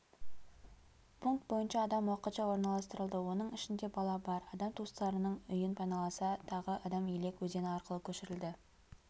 пункт бойынша адам уақытша орналастырылды оның ішінде бала бар адам туыстарының үйін паналаса тағы адам елек өзені арқылы көшірілді